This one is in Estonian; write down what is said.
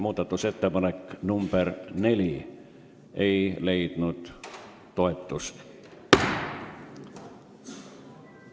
Muudatusettepanek nr 4 ei leidnud toetust.